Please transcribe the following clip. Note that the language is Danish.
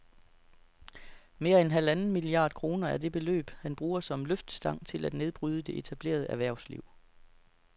Mere end halvanden milliard kroner er det beløb, han bruger som løftestang til at nedbryde det etablerede erhvervsliv